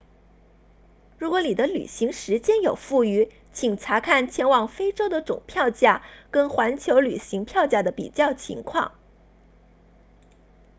如果你的旅行时间有富余请查看前往非洲的总票价跟环球旅行票价的比较情况